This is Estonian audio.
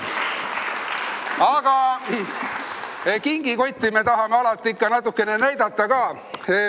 Aga kingikotti me tahame ikka natukene näidata ka.